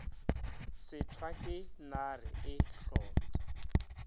šitwa ke nare e hlotša